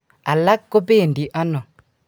alak kobendi ano?